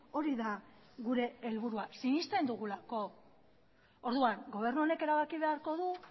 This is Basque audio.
hori da gure helburua sinesten dugulako orduan gobernu honek erabaki beharko du